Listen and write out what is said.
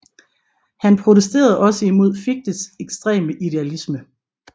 Han protesterede også imod Fichtes ekstreme idealisme